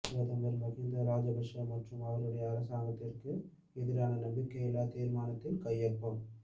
பிரதமர் மஹிந்த ராஜபக்ஷ மற்றும் அவருடைய அரசாங்கத்திற்கு எதிரான நம்பிக்கையில்லா தீர்மானத்தில் கையொப்பம